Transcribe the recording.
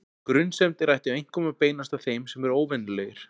Grunsemdir ættu einkum að beinast að þeim sem eru óvenjulegir.